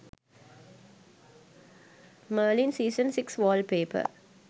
merlin season 6 wallpaper